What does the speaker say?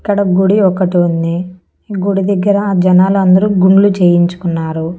ఇక్కడ గుడి ఒకటి ఉంది ఈ గుడి దగ్గర జనాలందరూ గుండ్లు చేయించుకున్నారు.